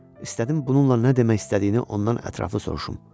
İstədim bununla nə demək istədiyini ondan ətraflı soruşum.